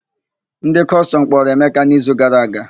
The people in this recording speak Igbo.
Ndị Kọstọm kpọrọ Emeka n'izu gara aga.